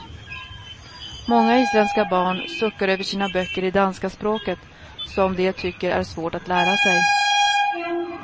Många isländska barn suckar över sina böcker i danska språket, som de tycker är svårt att lära sig.